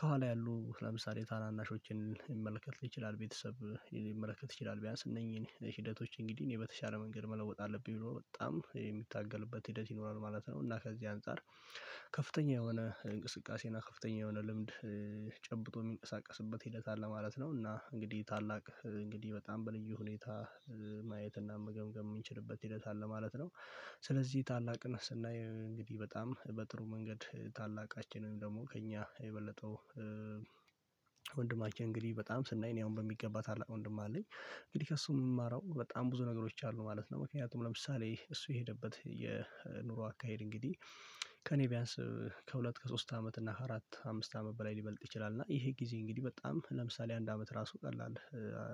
ከኋላ ያሉ ለምሳሌ ታናናሾችን ሊመለከት ይችላል ቤተሰብ ሊመለከት ይችላል ቢያንስ እነኚህን ሂደቶች እንግዲህ እኔ በተሻለ መንገድ መለወጥ አለብኝ ብሎ በጣም የሚታገልበት ሂደት ይኖራል ማለት ነው። እና ከዚህ አንፃር ከፍተኛ የሆነ እንቅስቃሴ እና ከፍተኛ የሆነ ልምድ ጨብጦ የሚንቀሳቀስበት ሂደት አለ ማለት ነው። እና እንግዲህ ታላቅ እንግዲህ በጣም በልዩ ሁኔታ ማየት እና መገምገም የምንችልበት ሂደት አለ ማለት ነው። ስለዚህ ታላቅን ስናይ እንግዲህ በጣም በጥሩ መንገድ ታላቃችንም ደግሞ ከእኛ የበለጠው እንግዲህ በጣም ስናይ እኔ አሁን በሚገባ ታላቅ ወንድም አለኝ እንግዲህ ከእሱ የምማረው በጣም ብዙ ነገሮች አሉ ማለት ነው። ምክንያቱም ለምሳሌ እሱ የሄደበት የኑሮ አካሄድ እንግዲህ ከእኔ ቢያንስ ከሁለት ከሶስት አመት እና አራት አምስት አመት በላይ ሊበልጥ ይችላል። እና ይሄ ጊዜ እንግዲህ በጣም ለምሳሌ አንድ አመት ራሱ ቀላል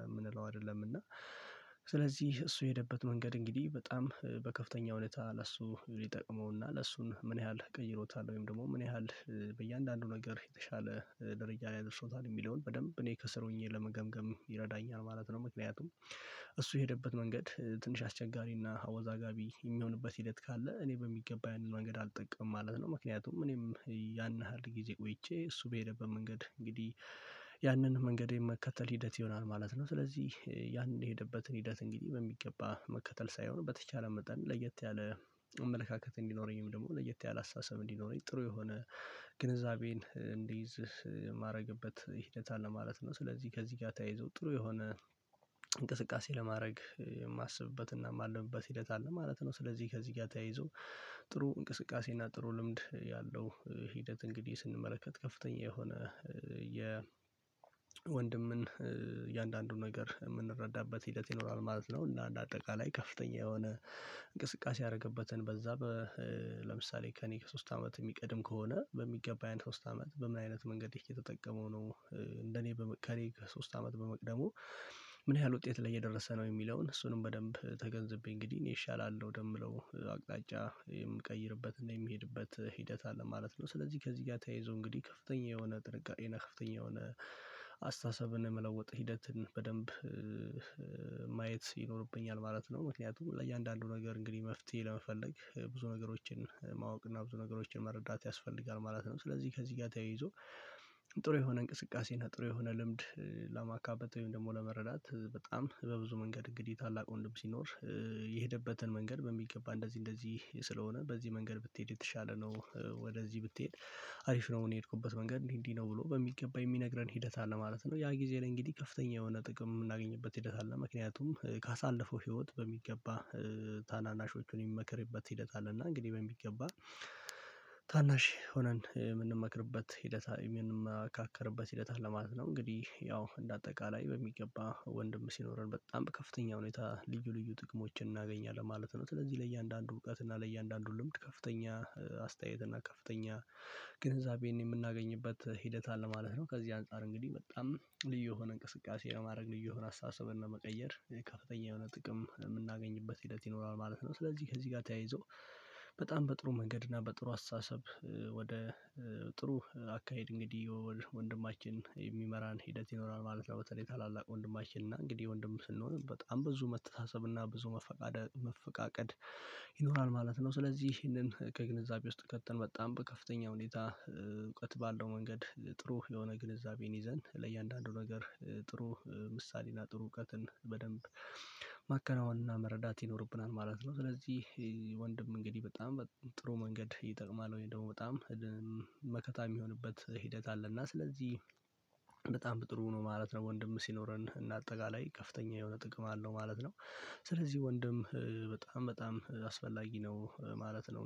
የምንለው አይደለም። እና ስለዚህ እሱ የሄደበት መንገድ እንግዲህ በጣም በከፍተኛ ሁኔታ ለሱ ይጠቅመውና እሱን ምን ያህል ቀይሮታል ወይም ደግሞ ምን ያህል በእያንዳንዱ ነገር የተሻለ ደረጃ ላይ አድርሶታል የሚለውን በደንብ እኔ ከስር ሆኜ ለመገምገም ይረዳኛል ማለት ነው። ምክንያቱም እሱ የሄደበት መንገድ ትንሽ አስቸጋሪና አወዛጋቢ የሚሆንበት ሂደት ካለ እኔ በሚገባ ያንን መንገድ አልጠቀምም ማለት ነው። ምክንያቱም እኔም ያን ያህል ጊዜ ቆይቼ እሱ በሄደበት መንገድ እንግዲህ ያንን መንገዴን መከተል ሂደት ይሆናል ማለት ነው። ስለዚህ ያን የሄደበት ሂደት እንግዲህ በሚገባ መከተል ሳይሆን በተቻለ መጠን ለየት ያለ አመለካከት እንዲኖረኝም ደግሞ ለየት ያለ አስተሳሰብ እንዲኖረኝ ጥሩ የሆነ ግንዛቤን እንዲይዝ የማደርግበት ሂደት አለ ማለት ነው። ስለዚህ ከዚህ ጋር ተያይዞ ጥሩ የሆነ እንቅስቃሴ ለማድረግ የማስብበት እና የማልምበት ሂደት አለ ማለት ነው። ስለዚህ ከዚህ ጋር ተያይዞ ጥሩ እንቅስቃሴ እና ጥሩ ልምድ ያለው ሂደት እንግዲህ ስንመለከት ከፍተኛ የሆነ የ ወንድምን የእያንዳንዱን ነገር የምንረዳበት ሂደት ይኖራል ማለት ነው። እና አንድ አጠቃላይ ከፍተኛ የሆነ እንቅስቃሴ ያደረገበትን በዛ ለምሳሌ ከእኔ ከሶስት አመት የሚቀድም ከሆነ በሚገባ ያን ሶስት አመት በምን አይነት መንገድ እየተጠቀመው ነው? እንደኔ ከእኔ ከሶስት አመት በመቅደሙ ምን ያህል ውጤት ላይ እየደረሰ ነው የሚለውን እሱንም በደንብ ተገንዝቤ እንግዲህ እኔ እሻላለሁ ወደምለው አቅጣጫ የምቀይርበትና የምሄድበት ሂደት አለ ማለት ነው። ስለዚህ ከዚህ ጋር ተያይዞ እንግዲህ ከፍተኛ የሆነ ጥንቃቄ እና ከፍተኛ የሆነ አስተሳሰብን የመለውጥ ሂደትን በደንብ ማየት ይኖርብኛል ማለት ነው። ምክንያቱም ለእያንዳንዱ ነገር እንግዲህ መፍትሄ ለመፈለግ ብዙ ነገሮችን ማወቅ እና ብዙ ነገሮችን መረዳት ያስፈልጋል ማለት ነው። ስለዚህ ከዚህ ጋር ተያይዞ ጥሩ የሆነ እንቅስቃሴ እና የሆነ ልምድ ለማካበት ወይም ደግሞ ለመረዳት በጣም በብዙ መንገድ እንግዲህ ታላቅ ወንድም ሲኖር የሄደበትን መንገድ በሚገባ እንደዚህ እንደዚህ ስለሆነ በዚህ መንገድ ብትሄድ የተሻለ ነው። ወደዚህ ብትሄድ አሪፍ ነው። እኔ የሄድኩበት መንገድ እንዲህ እንዲህ ነው ብሎ በሚገባ የሚነግረን ሂደት አለ ማለት ነው። ያ ጊዜ እንግዲህ ከፍተኛ የሆነ ጥቅም የምናገኝበት ሂደት አለ። ምክንያቱም ካሳለፈው ህይወት በሚገባ ታናናሾቹን የሚመክርበት ሂደት አለ። እና እንግዲህ በሚገባ ታናሽ ሆነን የምንመክርበት ሂደት የምንመካከርበት ሂደታ አለ ማለት ነው። እንግዲህ ያው እንደ አጠቃላይ በሚገባ ወንድም ሲኖረን በጣም ከፍተኛ ሁኔታ ልዩ ልዩ ጥቅሞችን እናገኛለን ማለት ነው። ስለዚህ ለእያንዳንዱ እውቀት እና ለእያንዳንዱ ልምድ ከፍተኛ አስተያየት እና ከፍተኛ ግንዛቤን የምናገኝበት ሂደት አለ ማለት ነው። ከዚህ አንፃር እንግዲህ በጣም ልዩ የሆነ እንቅስቃሴ ለማድረግ ልዩ የሆነ አስተሳሰብን ለመቀየር ከፍተኛ የሆነ ጥቅም የምናገኝበት ሂደት ይኖራል ማለት ነው። ስለዚህ ከዚህ ጋር ተያይዞ በጣም በጥሩ መንገድ እና በጥሩ አስተሳሰብ ወደ ጥሩ አካሄድ እንግዲህ የወል ወንድማችን የሚመራን ሂደት ይኖራል። ማለት ያው በተለይ ታላላቅ ወንድማችን እና እንግዲህ ወንድም ስንሆን በጣም ብዙ መተሳሰብ እና ብዙ መፈቃቀድ ይኖራል ማለት ነው። ስለዚህ ይሄንን ከግንዛቤ ውስጥ ከተን በጣም በከፍተኛ ሁኔታ እውቀት ባለው መንገድ ጥሩ የሆነ ግንዛቤን ይዘን ለእያንዳንዱ ነገር ጥሩ ምሳሌና ጥሩ እውቀትን በደንብ ማከናወንና መረዳት ይኖርብናል ማለት ነው። ስለዚህ ወንድም እንግዲህ በጣም ጥሩ መንገድ ይጠቅማል? ወይ ደግሞ በጣም መከታ የሚሆንበት ሂደት አለ። እና ስለዚህ በጣም ጥሩ ነው ማለት ነው። ወንድም ሲኖረን እና አጠቃላይ ከፍተኛ የሆነ ጥቅም አለው ማለት ነው። ስለዚህ ወንድም በጣም በጣም አስፈላጊ ነው ማለት ነው